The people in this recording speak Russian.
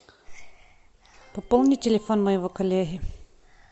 пополни телефон моего коллеги